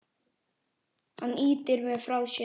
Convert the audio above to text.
Hann ýtir mér frá sér.